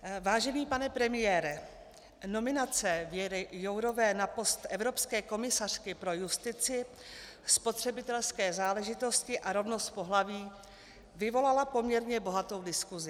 Vážený pane premiére, nominace Věry Jourové na post evropské komisařky pro justici, spotřebitelské záležitosti a rovnost pohlaví vyvolala poměrně bohatou diskusi.